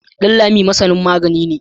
Danlami masani magani ne.